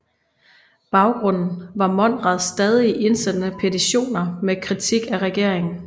Baggrunden var Monrads stadig indsendte petitioner med kritik af regeringen